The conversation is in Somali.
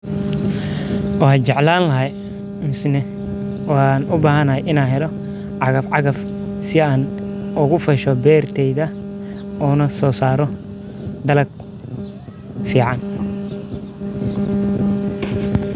Waxan jeclan lahay masne u bahan lahay in an helo cagaf cagaf si an ogu fasho beerteyda onasosaro dalag fican.